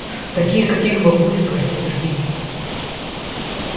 таких каких бабулек орёт сергей